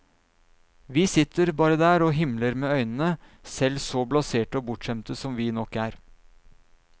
Vi sitter bare der og himler med øynene, selv så blaserte og bortskjemte som vi nok er.